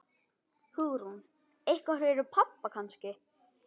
Hugrún: Eitthvað fyrir pabba kannski?